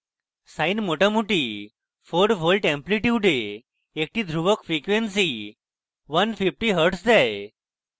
sine মোটামুটি 4 volts এমপ্লিটিউডে একটি ধ্রুবক frequency 150 hz দেয়